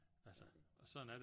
Altså og sådan er det